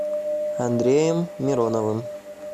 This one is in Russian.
андреем мироновым